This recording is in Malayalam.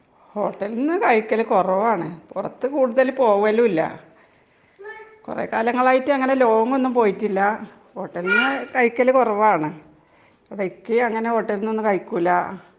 ഹോട്ടലിന്ന് കഴിക്കല് കുറവാണു .പുറത്തു കൂടുതലും പോകലില്ല .കുറെ കാലങ്ങൾ ആയിട്ടു അങ്ങനെ ലോങ്‌ ഒന്നും പോയിട്ടില്ല .ഹോട്ടലിനു കഴിക്കല് കുറവാണു .ഇക്കയും അങ്ങനെ ഹോട്ടലിനു ഒന്നും കഴിക്കൂല്ല .